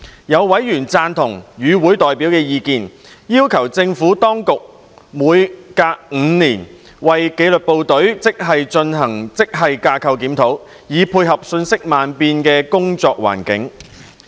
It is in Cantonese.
有委員贊同與會代表的意見，要求政府當局每隔5年為紀律部隊職系進行職系架構檢討，以配合瞬息萬變的工作環境。